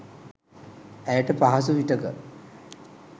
ඇයට පහසු විටක